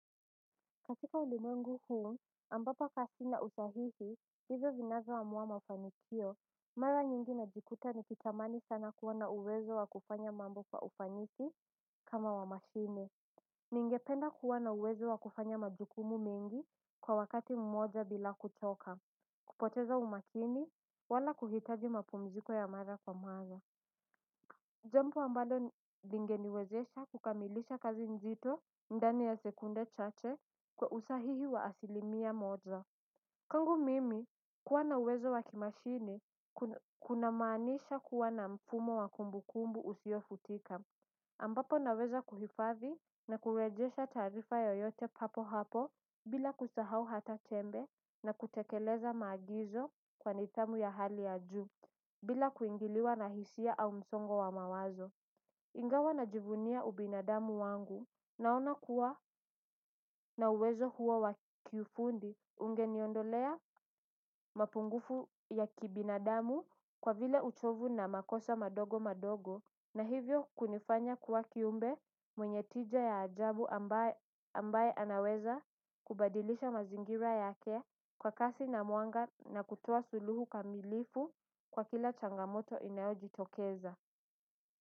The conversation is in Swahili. Katika ulimwengu huu ambapo ka sina usahihi hizo zinazoamua mafanikio mara nyingi najikuta nikitamani sana kuwa na uwezo wa kufanya mambo kwa ufanisi kama wa mashine. Ningependa kuwa na uwezo wa kufanya majukumu mengi kwa wakati mmoja bila kuchoka. Kupoteza umakini wala kuhitaji mapumziko ya mara kwa mara jambo ambalo lingeniwezesha kukamilisha kazi nzito ndani ya sekunde chache kwa usahihi wa asilimia moja. Kwangu mimi kuwa na uwezo wa kimashine kuna maanisha kuwa na mfumo wa kumbu kumbu usiofutika ambapo naweza kuhifadhi na kurejesha taarifa yoyote papo hapo bila kusahau hata tembe na kutekeleza maagizo kwa nidhamu ya hali ya juu. Bila kuingiliwa na hisia au msongo wa mawazo ingawa najivunia ubinadamu wangu naona kuwa na uwezo huo wa kifundi. Ungeniondolea mapungufu ya kibinadamu. Kwa vile uchovu na makosa madogo madogo na hivyo kunifanya kuwa kiumbe mwenye tija ya ajabu ambaye ambaye anaweza kubadilisha mazingira yake kwa kasi na mwanga na kutoa suluhu kamilifu kwa kila changamoto inayojitokeza.